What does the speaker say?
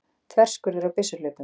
Þverskurður á byssuhlaupum.